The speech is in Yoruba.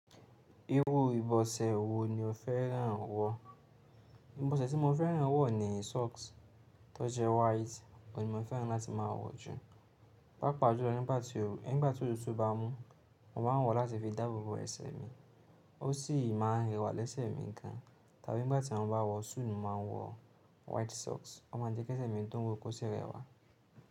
Irú ìbọ̀sẹ̀ wo ni o fẹ́ràn wọ̀? Ìbọ̀sẹ̀ tí mo fẹ́ràn wọ̀ ni socks tó jẹ́ white. Òn ní mo fẹ́ràn láti máa wọ̀ jù. Pàápàá jùlọ nígbà tí ooru nigba ti otútù bá mú, mo máa ń wọ̀ láti fi dáàbò bo ẹsẹ̀ mi. Ó sì máa ń rẹwà lẹ́sẹ̀ mi gan. Tàbí nígbà tí mo bá wọ̀ súù ni mo máa ń wọ̀ white socks. Ó máa ń jẹ́ kí ẹsẹ̀ mi tó ń wò kó sì rẹwà.